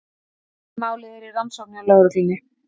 Málið er í rannsókn hjá lögreglunni